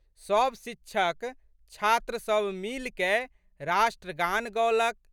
सब शिक्षक, छात्र सब मिलिकए राष्ट्रगान गओलक।